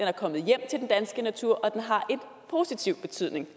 er kommet hjem til den danske natur og den har en positiv betydning